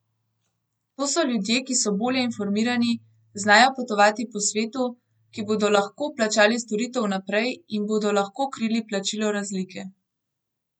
To so ljudje, ki so bolje informirani, znajo potovati po svetu, ki bodo lahko plačali storitev vnaprej in bodo lahko krili plačilo razlike.